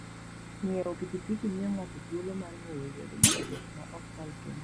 Ng'iewo pikipiki miyo ng'ato thuolo mar ng'eyo yore mag wuoth maok kal tong'.